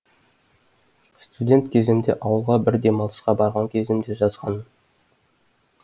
студент кезімде ауылға бір демалысқа барған кезімде жазғанмын